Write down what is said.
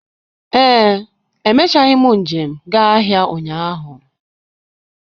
Ee, emechaghị m njem gaa ahịa ụnyaahụ,